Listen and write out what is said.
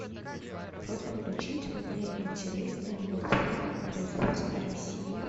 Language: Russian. просьба включить мне интересный мультфильм производства россия